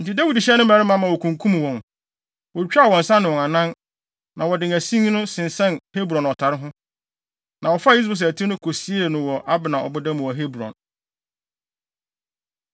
Enti Dawid hyɛɛ ne mmarima ma wokunkum wɔn. Wotwitwaa wɔn nsa ne wɔn anan, na wɔde asin no sensɛn Hebron ɔtare ho. Na wɔfaa Is-Boset ti no kosiee no wɔ Abner ɔboda mu wɔ Hebron.